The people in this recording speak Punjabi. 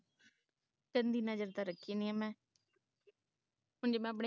ਗੰਦੀ ਨਜਰ ਤੇ ਰੱਖੀ ਨਹੀਂ ਮੈਂ ਹੁਣ ਜੋ ਮੈਂ ਆਪਣੇਂ